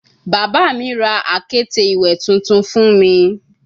Baba mi ra akete iwe tuntun fun mi